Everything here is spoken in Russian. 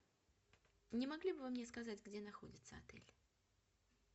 не могли бы вы мне сказать где находится отель